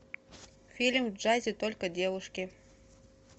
фильм в джазе только девушки